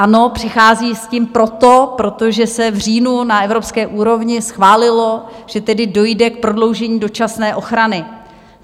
Ano, přichází s tím proto, protože se v říjnu na evropské úrovni schválilo, že tedy dojde k prodloužení dočasné ochrany.